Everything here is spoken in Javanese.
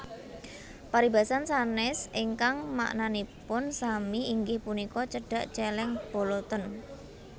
Paribasan sanès ingkang maknanipun sami inggih punika Cedhak cèlèng boloten